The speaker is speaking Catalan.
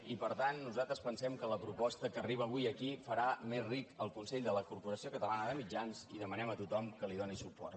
i per tant nosaltres pensem que la proposta que arriba avui aquí farà més ric el consell de la corporació catalana de mitjans i demanem a tothom que hi doni suport